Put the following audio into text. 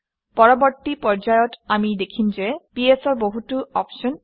পৰৱৰ্তী পৰ্যায়ত আমি দেখিম যে ps অৰ বহুতো অপশ্যন আছে